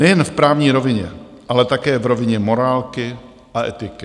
Nejen v právní rovině, ale také v rovině morálky a etiky.